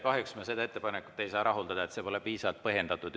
Kahjuks me seda ettepanekut ei saa rahuldada, see pole piisavalt põhjendatud.